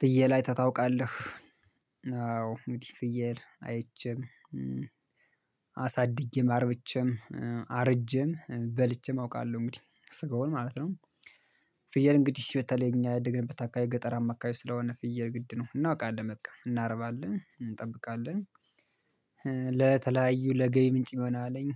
ፍየል አይተህ ታውቃለህ? አዎ እንግዲህ ፍየል አይቼም አሳድጌ አርብቼም አርጄም በልቼም አውቃለሁ እንግዲህ ስገውን ማለት ነው። ፍየል እንግዲህ በተለይ እኛ ያደግንብት አካባቢ ገጠርማ አማካይ ስለሆነ ፍየል ግድ ነው እናውቃለን በቃ እናርባለን እንጠብቃለን። ለተለያዩ ለገቢ ምንጭ መሆን አለኝ